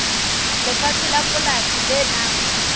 lefatshe la polasi le nang